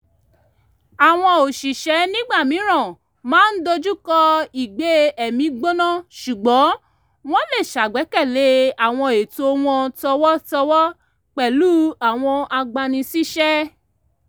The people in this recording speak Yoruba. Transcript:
àwọn òṣìṣẹ́ nígbà mìíràn máa ń dojúkọ ìgbé-ẹ̀mí-gbóná ṣùgbọ́n wọ́n lè ṣàgbékalẹ̀ àwọn ẹ̀tọ́ wọn tọ̀wọ̀tọ̀wọ̀ pẹ̀lú àwọn agbani síṣẹ́